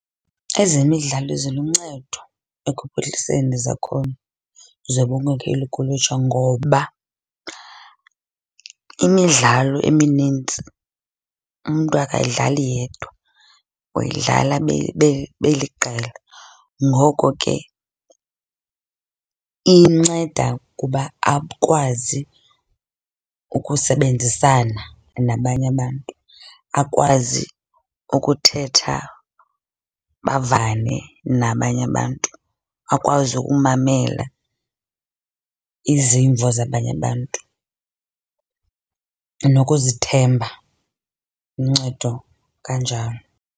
Ezemidlalo ziluncedo ekuphuhliseni zakhono zobunkokheli kulutsha ngoba imidlalo eminintsi umntu akayidlali yedwa, uyidlala beliqela. Ngoko ke inceda kuba akwazi ukusebenzisana nabanye abantu. Akwazi ukuthetha, bavane nabanye abantu. Akwazi ukumamela izimvo zabanye abantu nokuzithemba, uncedo kanjalo.